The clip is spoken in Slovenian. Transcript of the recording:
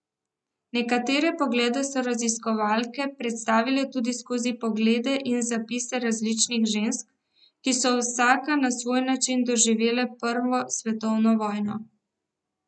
Nekatere poglede so raziskovalke predstavile tudi skozi poglede in zapise različnih žensk, ki so vsaka na svoj način doživljale prvo svetovno vojno.